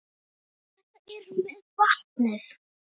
En þetta með vatnið?